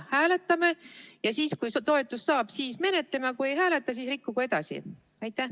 Hääletame, ja siis, kui toetuse saab, siis menetleme, aga kui saa, siis rikkugu edasi.